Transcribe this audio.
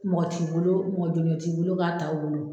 Mɔgɔ t'i bolo mɔgɔ jolen t'i bolo k'a t'a o bolo.